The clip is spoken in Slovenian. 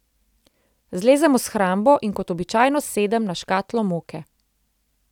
Zlezem v shrambo in kot običajno sedem na škatlo moke.